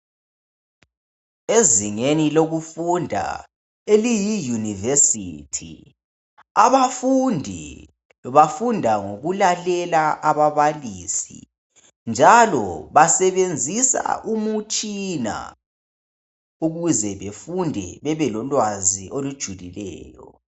Ezingeni lokufunda eliyi yunivesithi , abafundi bafunda nhokulalela ababalisi njalo basebenzisa imitshina ukuze befunde bebelolwazi olujulileyo.